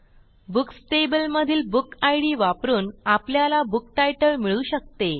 books table मधील बुकिड वापरून आपल्याला बुक्तीतले मिळू शकते